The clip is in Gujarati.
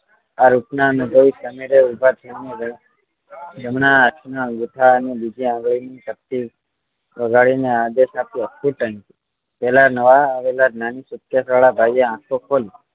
આ રીતે સમીરે ઉભા થય ને જમણા હાથ ની અંગુઠા ના બીજી આંગળી ની ચપટી વગાડી ને આદેશ આપ્યો ફૂટ અહીં થી પેલા નવા આવેલા નાની suitcase વાળા ભાઈ એ આંખો ખોલી